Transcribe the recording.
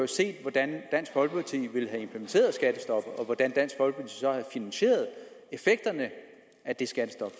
set hvordan dansk folkeparti ville have implementeret skattestoppet og hvordan dansk folkeparti så havde finansieret effekterne af det skattestop